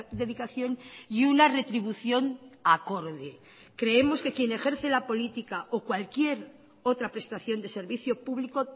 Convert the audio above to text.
dedicación y una retribución acorde creemos que quien ejerce la política o cualquier otra prestación de servicio público